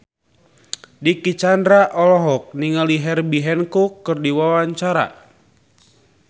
Dicky Chandra olohok ningali Herbie Hancock keur diwawancara